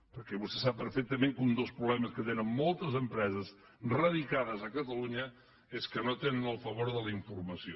perquè vostè sap perfectament que un dels problemes que tenen moltes empreses radicades a catalunya és que no tenen el favor de la informació